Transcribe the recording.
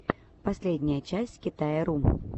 последняя часть китая ру